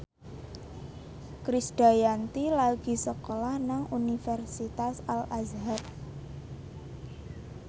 Krisdayanti lagi sekolah nang Universitas Al Azhar